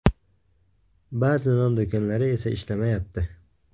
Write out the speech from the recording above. Ba’zi non do‘konlari esa ishlamayapti.